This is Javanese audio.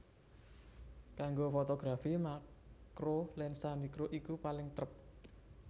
Kanggo fotografi makro lensa makro iku paling trep